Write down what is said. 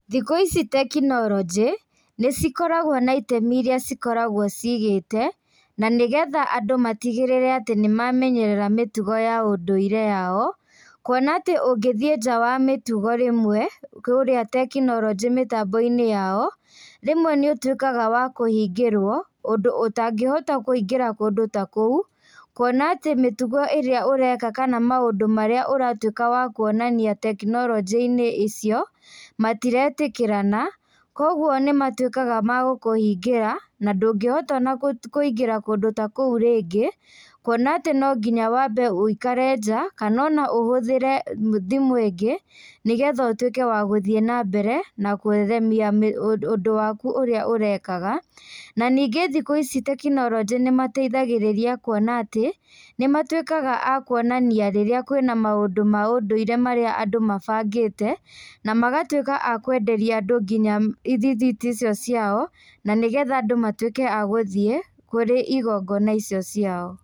Thikũ ici tekinoronjĩ nĩcikoragwo na itemi iria cikoragwo cigĩte na nĩgetha andũ matigĩrĩre atĩ nĩmamenyerera mĩtugo ya ũndũire yao kuona tĩ ũngĩthie nja ya mĩtugo rĩmwe kũrĩa tekinoronjĩ mĩtamboinĩ yao rĩmwe nĩũtuĩkaga wa kũhingĩrwo, ũndũ ũtangĩhota kũingĩra kũndũ ta kũu kuona atĩ mĩtugo ĩrĩa ũreka kana maũndũ maria ũratuĩka wa kuonania tekinoronjĩinĩ icio matiretĩkĩrana kwoguo nĩmatuĩkaga ma gũkũhingĩra na ndũngĩtuĩka wa kũingĩra kũndũ ta kũu rĩngĩ kuona atĩ no nginya ũikare nja kana no ũhũthĩre thimũ ingĩ nĩgetha ũhote wa gũthiĩ na mbere na gũtheremia ũndũ waku ũrĩa ũrekaga, na ningĩ thikũ ici tekinoronjĩ nĩmateithagĩrĩria kuona atĩ nĩmatuĩkaga ma kuonania rĩrĩa kwĩna maũndũ ma ũndũire marĩa andũ mabangĩte na magatuĩka akwenderia andũ nginya irithiti icio ciao na nĩgetha andũ matuĩke a gũthie kũrĩ igongona icio ciao.